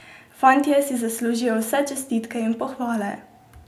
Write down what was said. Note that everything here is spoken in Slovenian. Fantje si zaslužijo vse čestitke in pohvale!